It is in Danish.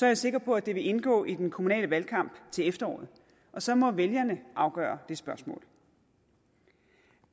jeg sikker på at det vil indgå i den kommunale valgkamp til efteråret og så må vælgerne afgøre det spørgsmål